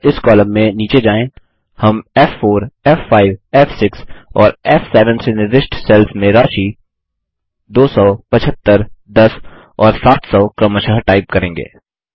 अब इस कॉलम में नीचे जाएँ हम f4f5फ़6 और फ़7 से निर्दिष्ट सेल्स में राशि 1000625310 और 2700 क्रमशः टाइप करेंगे